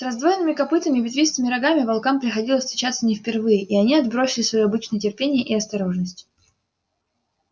с раздвоенными копытами и ветвистыми рогами волкам приходилось встречаться не впервые и они отбросили своё обычное терпение и осторожность